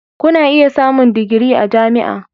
Kuna iya samun digiri a jami'a.